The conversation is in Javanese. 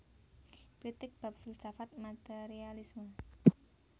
Kritik bab filsafat materialisme